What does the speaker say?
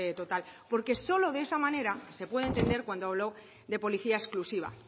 total porque solo de esa manera se puede entender cuando habló de policía exclusiva